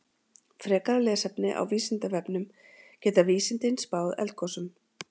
Frekara lesefni á Vísindavefnum Geta vísindin spáð eldgosum?